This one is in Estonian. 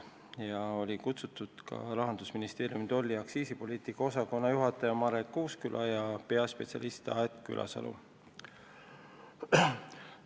Istungile olid kutsutud ka Rahandusministeeriumi tolli- ja aktsiisipoliitika osakonna juhataja Marek Uusküla ja peaspetsialist Aet Külasalu.